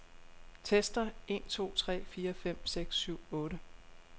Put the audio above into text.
Tester en to tre fire fem seks syv otte.